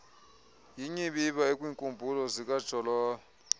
yinyibiba ekwiinkumbulo zokajolobe